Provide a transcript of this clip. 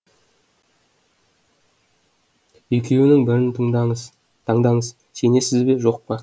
екеуінің бірін таңдаңыз сенесіз бе жоқ па